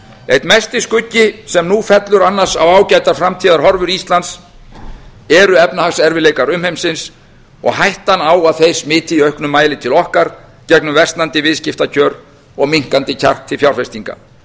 einn mesti skuggi sem nú fellur annars á ágætar framtíðarhorfur íslands eru efnahagserfiðleikar umheimsins og hættan á að þeir smiti í auknum mæli til okkar gegnum versnandi viðskiptakjör og minnkandi kjark til fjárfestinga